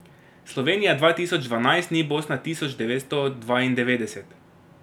Slovenija dva tisoč dvanajst ni Bosna tisoč devetsto dvaindevetdeset!